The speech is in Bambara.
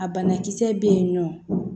A bana kisɛ be yen nɔ